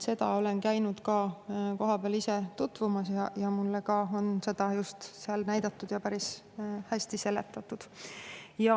Olen ise käinud ka kohapeal sellega tutvumas, mulle on seda seal näidatud ja päris hästi seletatud.